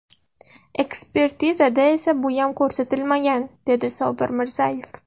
Ekspertizada esa buyam ko‘rsatilmagan, dedi Sobir Mirzayev.